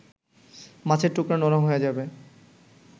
মাছের টুকরা নরম হয়ে যাবে